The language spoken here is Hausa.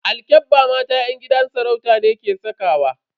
Alkyabba mata yan gidan sarauta ne ke sakawa.